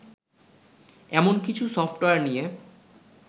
এমন কিছু সফটওয়্যার নিয়ে